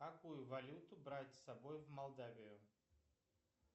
какую валюту брать с собой в молдавию